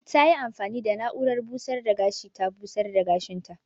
Ta yi amfani da na'urar busar da gashi ta busar da gashin ta.